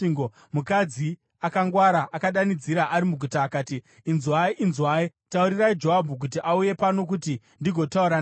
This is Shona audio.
mukadzi akangwara akadanidzira ari muguta akati, “Inzwai! Inzwai! Taurirai Joabhu kuti auye pano kuti ndigotaura naye.”